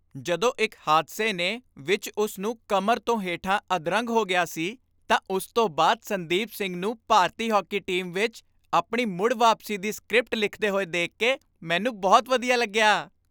ਜਦੋਂ ਇੱਕ ਹਾਦਸੇ ਨੇ ਵਿੱਚ ਉਸ ਨੂੰ ਕਮਰ ਤੋਂ ਹੇਠਾਂ ਅਧਰੰਗ ਹੋ ਗਿਆ ਸੀ ਤਾਂ ਉਸ ਤੋਂ ਬਾਅਦ ਸੰਦੀਪ ਸਿੰਘ ਨੂੰ ਭਾਰਤੀ ਹਾਕੀ ਟੀਮ ਵਿੱਚ ਆਪਣੀ ਮੁੜ ਵਾਪਸੀ ਦੀ ਸਕ੍ਰਿਪਟ ਲਿਖਦੇ ਹੋਏ ਦੇਖ ਕੇ ਮੈਨੂੰ ਬਹੁਤ ਵਧੀਆ ਲੱਗਿਆ ।